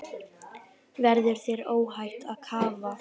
Verður þér óhætt að kafa?